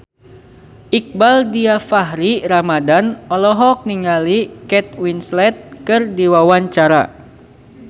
Iqbaal Dhiafakhri Ramadhan olohok ningali Kate Winslet keur diwawancara